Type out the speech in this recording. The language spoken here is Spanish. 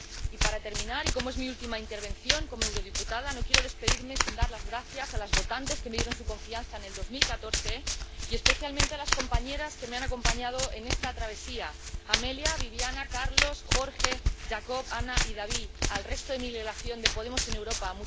Y, para terminar, y como es mi última intervención como diputada al Parlamento Europeo, no quiero despedirme sin dar las gracias a las votantes que me dieron su confianza en 2014, y especialmente a las compañeras que me han acompañado en esta travesía Amelia, Viviana, Carlos, Jorge, Jacob, Ana y David, al resto de mi delegación de Podemos en Europa.